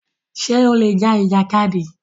Ṣè ó lè já ìjàkádì?